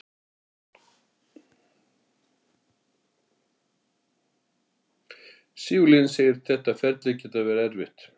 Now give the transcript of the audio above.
Sigurlína segir að þetta ferli geti verið erfitt: